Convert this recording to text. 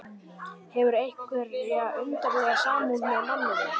Hefur einhverja undarlega samúð með manninum.